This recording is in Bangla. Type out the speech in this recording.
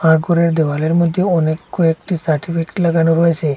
তারপরে দেওয়ালের মধ্যেও অনেক কয়েকটি সার্টিফিকেট লাগানো রয়েসে।